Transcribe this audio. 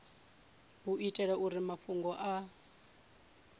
u itela uri mafhungo a